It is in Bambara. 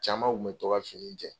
Camanw kun bɛ to ka fini in jɛn.